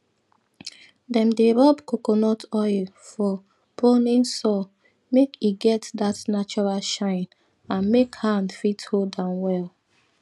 dem dey rub coconut oil for pruning saw make e get dat natural shine and make hand fit hold am well